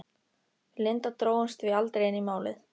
Við Linda drógumst því aldrei inn í Málið.